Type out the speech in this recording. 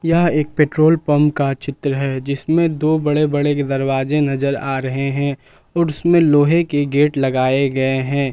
यह एक petrol pump का चित्र है जिसमें दो बड़े बड़े दरवाजे नजर आ रहे हैं और उसमें लोहे के गेट लगाए गए हैं।